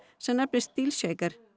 sem nefnist